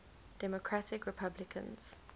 democratic republicans